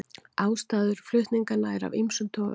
Ástæður flutninganna eru af ýmsum toga